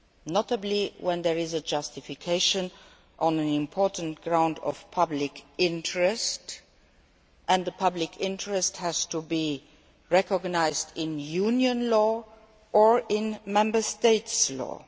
notably when there is a justification on an important ground of public interest and the public interest has to be recognised in Union law or in Member State law.